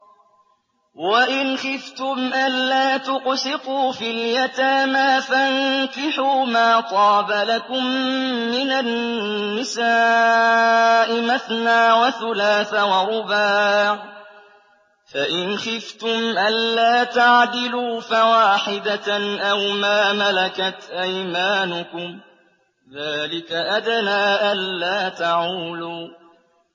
وَإِنْ خِفْتُمْ أَلَّا تُقْسِطُوا فِي الْيَتَامَىٰ فَانكِحُوا مَا طَابَ لَكُم مِّنَ النِّسَاءِ مَثْنَىٰ وَثُلَاثَ وَرُبَاعَ ۖ فَإِنْ خِفْتُمْ أَلَّا تَعْدِلُوا فَوَاحِدَةً أَوْ مَا مَلَكَتْ أَيْمَانُكُمْ ۚ ذَٰلِكَ أَدْنَىٰ أَلَّا تَعُولُوا